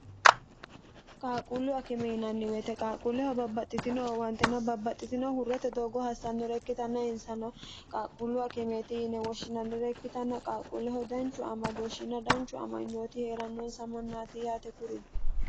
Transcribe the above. qaaqquullu akime yinanni weyete qaaqquulleho babbaxxitino wantena babbaxxitino hurrete doogo hassannore ikkitanna insano qaaqquullu akimeeti yine woshshinannire ikkitanna qaaqquulleho danchu amadooshshina danchu amanyooti hee'rannoonsa mannaati yaate kurino